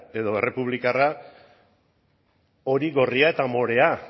edo errepublikarra hori gorria eta morea